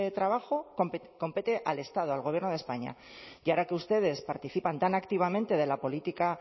trabajo compete al estado al gobierno de españa y ahora que ustedes participan tan activamente de la política